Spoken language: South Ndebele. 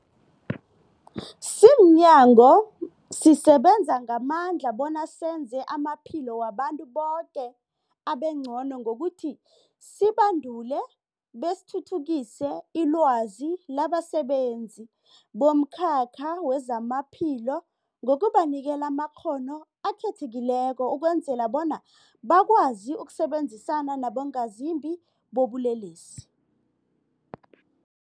Simnyango, sisebenza ngamandla bona senze amaphilo wabantu boke abengcono ngokuthi sibandule besithuthukise ilwazi labasebenzi bomkhakha wezamaphilo ngokubanikela amakghono akhethekileko ukwenzela bona bakwazi ukusebenzisana nabongazimbi bobulelesi.